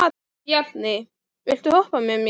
Bjarni, viltu hoppa með mér?